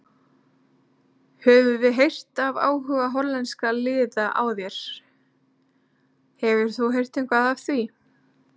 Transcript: Við höfum heyrt af áhuga hollenskra liða á þér, hefur þú heyrt eitthvað af því?